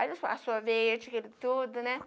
Aí, eles fala sorvete, aquilo tudo, né?